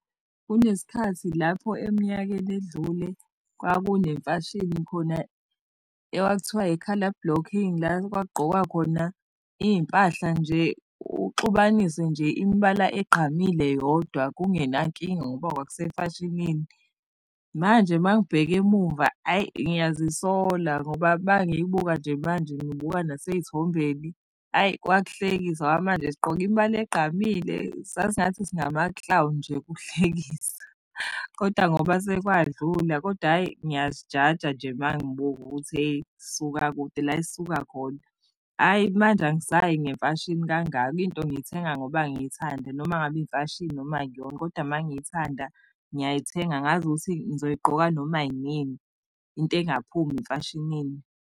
Kunesikhathi lapho eminyakeni edlule kwakunemfashini khona ekwakuthiwa i-colour blocking, la okwakugqokwa khona iy'mpahla nje uxubanise nje imibala egqamile yodwa kungenankinga ngoba kwakusemfashinini. Manje uma ngibheka emumva hhayi ngiyazisola ngoba uma ngiyibuka nje manje ngibuka nasey'thombeni, hhayi kwakuhlekisa ngoba manje sigqoke imibala egqamile sasingathi singama-clown nje kuhlekisa kodwa ngoba sekwadlula. Kodwa hhay,i ngiyazijaja nje mangibuka ukuthi hheyi sisuka kude la esisuka khona. Hhayi manje angisayi ngemfashini kangako, into ngiyithenga ngoba ngiyithanda noma ngabe imfashini noma akuyona kodwa uma ngiyithanda ngiyayithenga ngazi ukuthi ngizoyigqoka noma yinini into engaphumi emfashinini.